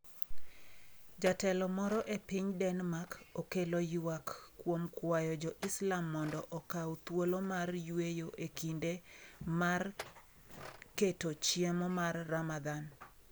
Jatelo moro e piny Denmark okelo ywak kuom kwayo jo Islam mondo okaw thuolo mar yweyo e kinde mar keto chiemo mar Ramadan